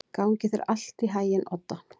Gangi þér allt í haginn, Odda.